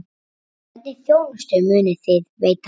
Hvernig þjónustu munuð þið veita?